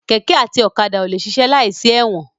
Kẹ̀kẹ́ àti ọ̀kadà ò lè ṣiṣẹ́ láìsí ẹ̀wọ̀n.